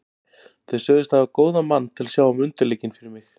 Þeir sögðust hafa góðan mann til að sjá um undirleikinn fyrir mig.